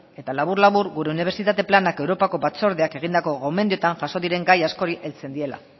eta labur labur gure unibertsitate planak europako batzordeak egindako gomendioetan jaso diren gai askori heltzen diela